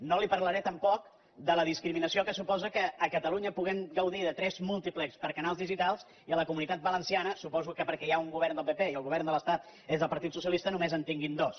no li parlaré tampoc de la discriminació que suposa que a catalunya puguem gaudir de tres múltiplex per canals digitals i a la comunitat valenciana suposo que perquè hi ha un govern del pp i el govern de l’estat és del partit socialista només en tinguin dos